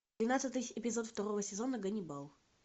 двенадцатый эпизод второго сезона ганнибал